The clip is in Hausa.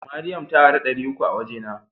Mariam ta ara dari uku a waje na.